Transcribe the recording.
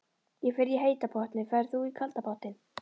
Ég fer í heita pottinn. Ferð þú í kalda pottinn?